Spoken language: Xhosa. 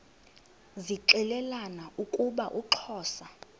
zixelelana ukuba uxhosa